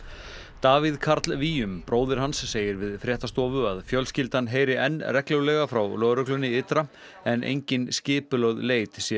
Davíð Karl bróðir hans segir við fréttastofu að fjölskyldan heyri enn reglulega frá lögreglunni ytra en engin skipulögð leit sé